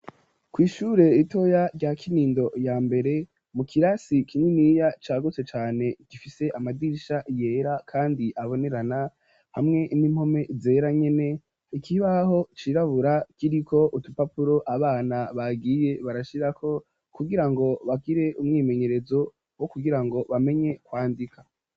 Kw'ishure ritoya, rya Kinindo ya mbere, mu kirasi kininiya, cagutse cane, gifise amadirisha yera, kandi abonerana, hamwe n'impome zera, nyene; ikibaho cirabura, kiriko utupapuro, abana bagiye barashirako, kugira ngo, bagire umwimenyerezo, wo kugira ngo, bamenye kwandika.